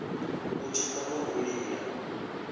u tshipa na u lila